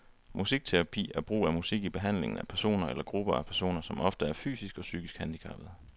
Musikterapi er brug af musik i behandlingen af personer eller grupper af personer, som ofte er fysisk og psykisk handicappede.